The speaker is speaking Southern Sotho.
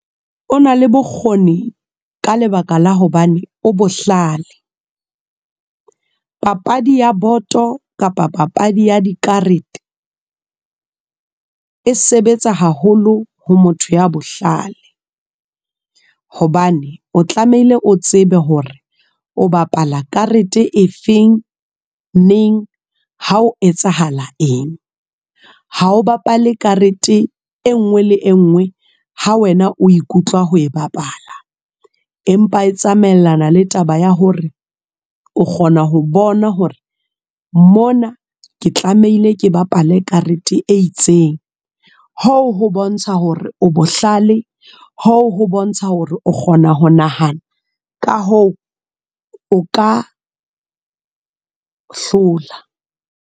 O na le bokgoni, ka lebaka la hobane o bohlale. Papadi ya boto, kapa papadi ya dikarete. E sebetsa haholo ho motho ya bohlale. Hobane o tlamehile o tsebe hore o bapala karete e feng, neng, ha o etsahala eng. Ha o bapale karete e nngwe le e nngwe, ha wena o ikutlwa ho e bapala. Empa e tsamaellana le taba ya hore o kgona ho bona hore mona ke tlamehile ke bapale karete e itseng. Hoo ho bontsha hore o bohale. Hoo ho bontsha hore o kgona ho nahana, ka hoo, o ka hlola.